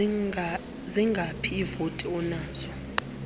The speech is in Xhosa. zingaphi iivoti onazo